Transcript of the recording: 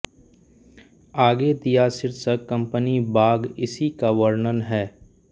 आगे दिया शीर्षक कंपनी बाग़ इसी का वर्णन है